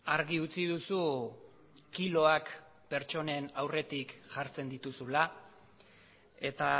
argi utzi duzu kiloak pertsonen aurretik jartzen dituzula eta